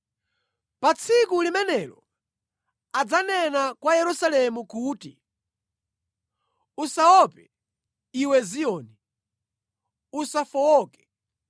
Pa tsiku limenelo adzanena kwa Yerusalemu kuti, “Usaope, iwe Ziyoni; usafowoke.